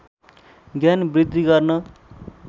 ज्ञान वृद्धि गर्न